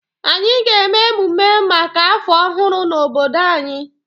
Anyị ga-eme emume maka afọ ọhụrụ na obodo anyị